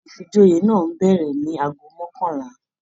Ifíjòyè náà n bẹrẹ ní agogo mọkanla.